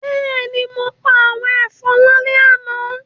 Bẹ́ẹ̀ni, mo pa àwọn ẹ̀fọn lálẹ́ àná